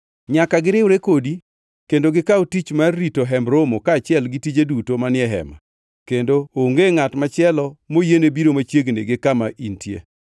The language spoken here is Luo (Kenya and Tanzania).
Nyaka giriwre kodi kendo gikaw tich mar rito Hemb Romo kaachiel gi tije duto manie Hema, kendo onge ngʼat machielo moyiene biro machiegni gi kama intie.